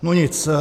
No nic.